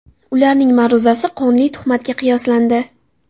Ularning ma’ruzasi qonli tuhmatga qiyoslandi.